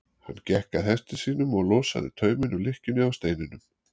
Hann gekk að hesti sínum og losaði tauminn úr lykkjunni á steininum.